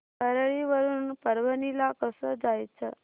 परळी वरून परभणी ला कसं जायचं